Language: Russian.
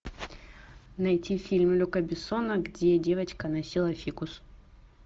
найти фильм люка бессона где девочка носила фикус